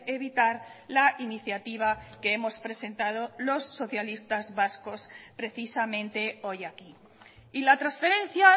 evitar la iniciativa que hemos presentado los socialistas vascos precisamente hoy aquí y la transferencia